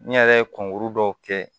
N yɛrɛ ye kunkuru dɔw kɛ